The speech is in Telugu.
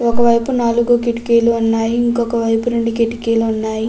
ఒక వైపు నాలుగు కిటికీలు ఉన్నాయి. ఇంకొక వైపు రెండు కిటికీలు ఉన్నాయి.